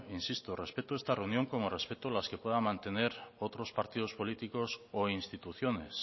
insisto respeto esta reunión como respeto las que puedan mantener otros partidos políticos o instituciones